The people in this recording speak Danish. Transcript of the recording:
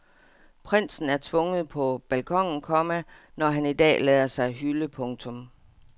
Prinsen er tvunget på balkonen, komma når han i dag lader sig hylde. punktum